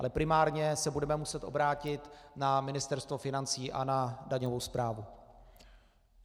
Ale primárně se budeme muset obránit na Ministerstvo financí a na daňovou správu.